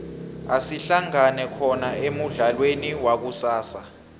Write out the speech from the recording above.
asihlangane khona emudlalweni wakusasa